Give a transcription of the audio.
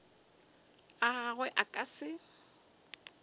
a gagwe a ka se